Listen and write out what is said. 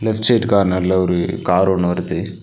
Left side கார்னர்ல ஒரு car ஒன்னு வருது.